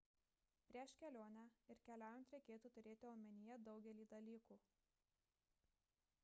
prieš kelionę ir keliaujant reikėtų turėti omenyje daugelį dalykų